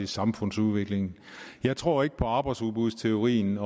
samfundsudviklingen jeg tror ikke på arbejdsudbudsteorien